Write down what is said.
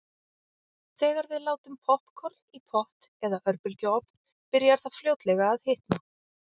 Þegar við látum poppkorn í pott eða örbylgjuofn byrjar það fljótlega að hitna.